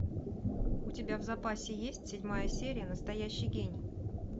у тебя в запасе есть седьмая серия настоящий гений